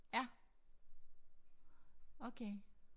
Ja okay